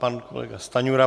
Pan kolega Stanjura.